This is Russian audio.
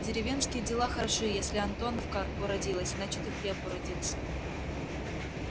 деревенские дела хороши если антоновка уродилась значит и хлеб уродился